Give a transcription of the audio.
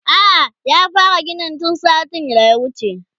a'a ya fara ginin tun satin da ya wuce